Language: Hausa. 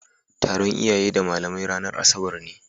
Taron iyaye da malamai ranar asabarne.